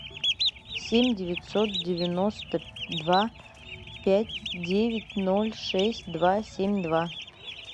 семь девятьсот девяносто два пять девять ноль шесть два семь два